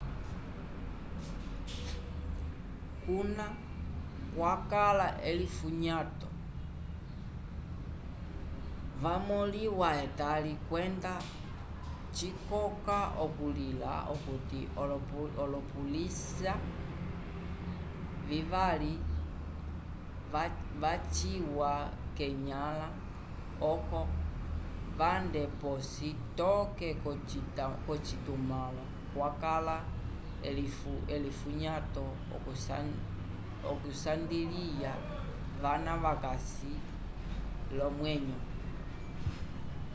kuna kwakala elifunyato yamõliwa etali kwenda cikoka okulila okuti olopolisya vivali vaciwa venyãla oco vande p'osi toke k'ocitumãlo kwakala elifunyato okusandiliya vana vakasi l'omwenyo